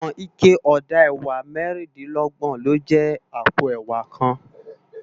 Iwòn iké òdá èwá mèrindilògbòn ló jè àpó èwá kán